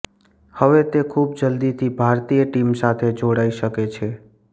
હવે તે ખૂબ જલ્દીથી ભારતીય ટીમ સાથે જોડાઈ શકે છે